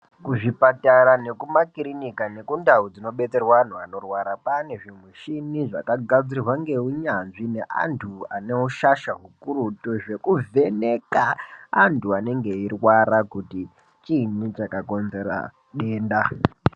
Kuzvipatara nekumakiriniki nekundau dzinodetserwa antu anorwara kwaane zvimichini zvakagadzirwa ngeunyanzvi ngeantu ane ushasha hukurutu zvekuvheneka vantu vanenge veirwara kuti chiinyi chakakonzera denda .